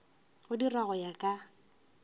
go dirwa go ya ka